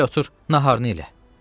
Gəl otur, naharını elə.